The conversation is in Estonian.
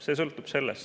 See sõltub sellest.